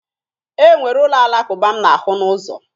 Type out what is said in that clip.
E nwere ụlọ Alakụba m na-ahụ n'ụzọ.